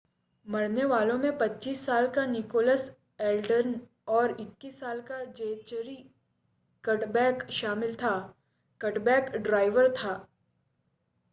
मरने वालों में 25 साल का निकोलस एल्डन और 21 साल का ज़ेचरी कडबैक शामिल था कडबैक ड्राइवर था